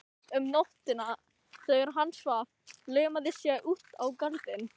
Um nóttina þegar hann svaf laumaðist ég út í garðinn.